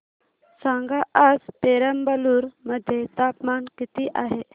सांगा आज पेराम्बलुर मध्ये तापमान किती आहे